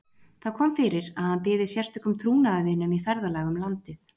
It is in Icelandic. Það kom fyrir að hann byði sérstökum trúnaðarvinum í ferðalag um landið.